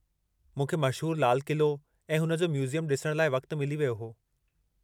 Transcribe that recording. मूंखे मशहूरु लाल क़िलो ऐं हुन जो म्यूज़ियम ॾिसण लाइ वक़्तु मिली वियो हो।